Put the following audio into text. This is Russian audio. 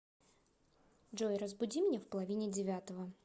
джой разбуди меня в половине девятого